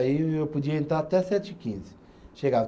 Aí eu eu podia entrar até sete e quinze